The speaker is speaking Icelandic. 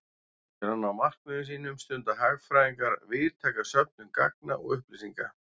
Til að ná markmiðum sínum stunda hagfræðingar víðtæka söfnun gagna og upplýsinga.